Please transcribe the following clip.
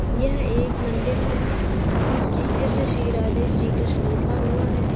यह एक मंदिर है जिसमें श्री कृष्ण श्री राधे श्री कृष्ण लिखा हुआ है।